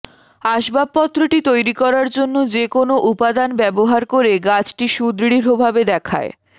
আসবাবপত্রটি তৈরি করার জন্য যে কোনও উপাদান ব্যবহার করে গাছটি সুদৃঢ়ভাবে দেখায়